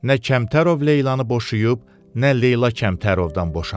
Nə Kəmtərov Leylanı boşuyub, nə Leyla Kəmtərovdan boşanıb.